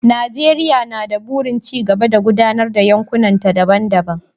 Najeriya na da burin ci gaba da gudanar da yankunanta daban-daban.